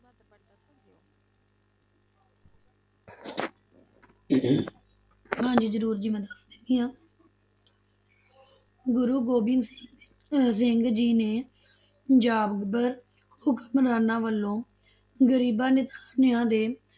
ਹਾਂਜੀ ਜ਼ਰੂਰ ਜੀ ਮੈਂ ਦੱਸ ਦਿੰਦੀ ਹਾਂ ਗੁਰੂ ਗੋਬਿੰਦ ਸਿੰਘ ਅਹ ਸਿੰਘ ਜੀ ਨੇ ਜ਼ਾਬਰ ਹੁਕਮਰਾਨਾਂ ਵੱਲੋਂ ਗ਼ਰੀਬਾਂ ਨਿਤਾਣਿਆਂ ਦੇ,